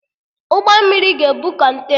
Ụgbọ mmiri ga-ebu Kọntena